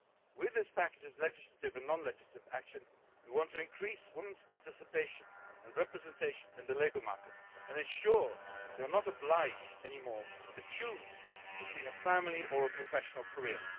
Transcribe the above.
With this package of legislative and non legislative action, we want to increase women's participation and representation in the labour market and ensure they are not obliged anymore to choose between a family or a professional career.